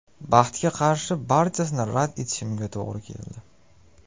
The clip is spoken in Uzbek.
Baxtga qarshi barchasini rad etishimga to‘g‘ri keldi.